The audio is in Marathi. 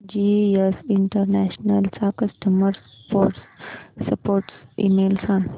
जीएस इंटरनॅशनल चा कस्टमर सपोर्ट ईमेल सांग